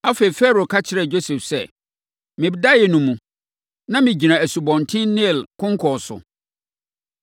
Afei, Farao ka kyerɛɛ Yosef sɛ, “Me daeɛ no mu, na megyina Asubɔnten Nil konkɔn so.